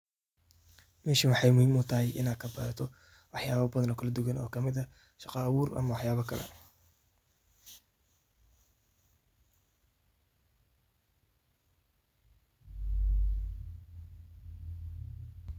Meeshan waxay muhim u tahay ini kabaratoh waxayala oo bathan oo kalawaduwan oo kamit aah shaqa abuur amah waxyala Kali .